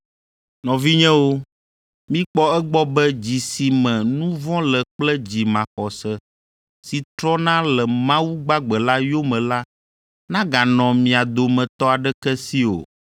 Nɔvinyewo, mikpɔ egbɔ be dzi si me nu vɔ̃ le kple dzi maxɔse si trɔna le Mawu gbagbe la yome la naganɔ mia dometɔ aɖeke si o.